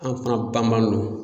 An fana banbanno.